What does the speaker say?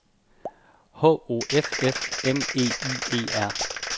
H O F F M E Y E R